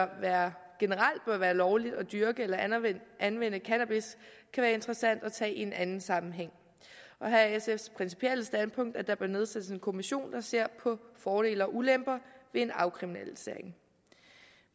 være lovligt at dyrke eller anvende cannabis kan være interessant at tage i en anden sammenhæng og her er sfs principielle standpunkt at der bør nedsættes en kommission der ser på fordele og ulemper ved en afkriminalisering